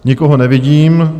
Nikoho nevidím.